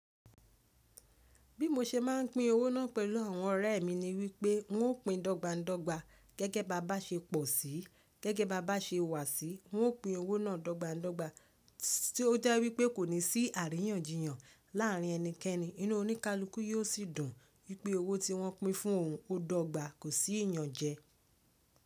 Bí mo ṣe máa ń pín owó náà pẹ̀lú àwọn ọ̀rẹ́ mi ni wípé wọn ó pín dogba dogba gẹ́gẹ́ bá bá ṣe pò sí, gẹ́gẹ́ bá bá ṣe wà sí, wọn ó pín owó náà dogba dogba tí ó jẹ́ wípé kò ní sí àríyànjiyàn láàrin ẹnikẹ́ni, inú oníkálukú yóò sì dùn wípé owó tí wọ́n pín fún òun ó dọ́gba, kò sí ìyànjẹ.